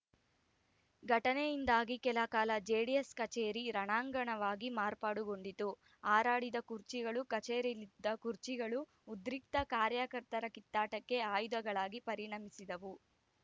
ಘಟನೆಯಿಂದಾಗಿ ಕೆಲಕಾಲ ಜೆಡಿಎಸ್‌ ಕಚೇರಿ ರಣಾಂಗಣವಾಗಿ ಮಾರ್ಪಾಡುಗೊಂಡಿತು ಹಾರಾಡಿದ ಕುರ್ಚಿಗಳು ಕಚೇರಿಯಲ್ಲಿದ್ದ ಕುರ್ಚಿಗಳು ಉದ್ರಿಕ್ತ ಕಾರ್ಯಕರ್ತರ ಕಿತ್ತಾಟಕ್ಕೆ ಆಯುಧಗಳಾಗಿ ಪರಿಣಮಿಸಿದವು